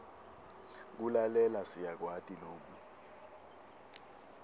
kulalela siyakwati loku